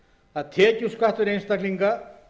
að tekjuskattar einstaklinga